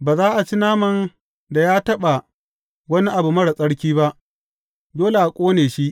Ba za a ci naman da ya taɓa wani abu marar tsarki ba; dole a ƙone shi.